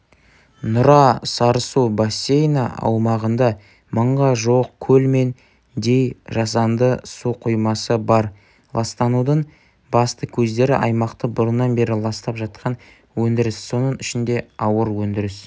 нұра-сарысу бассейні аумағында мыңға жуық көл мен дей жасанды су қоймасы бар ластанудың басты көздері аймақты бұрыннан бері ластап жатқан өндіріс соның ішінде ауыр өндіріс